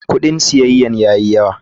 Kudin siyayya ya yi yawa.